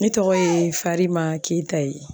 Ne tɔgɔ ye farima keyita ye